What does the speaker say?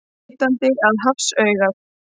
Vitandi að hafsaugað.